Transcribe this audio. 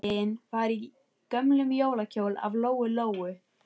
Abba hin var í gömlum jólakjól af Lóu-Lóu.